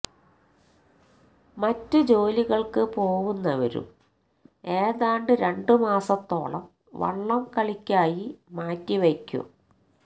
മറ്റ് ജോലികള്ക്ക് പോവുന്നവരും ഏതാണ്ട് രണ്ട് മാസത്തോളം വള്ളം കളിയ്ക്കായി മാറ്റി വക്കും